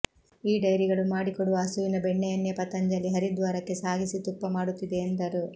ಈ ಡೈರಿಗಳು ಮಾಡಿಕೊಡುವ ಹಸುವಿನ ಬೆಣ್ಣೆಯನ್ನೇ ಪತಂಜಲಿ ಹರಿದ್ವಾರಕ್ಕೆ ಸಾಗಿಸಿ ತುಪ್ಪ ಮಾಡುತ್ತಿದೆ ಎಂದರು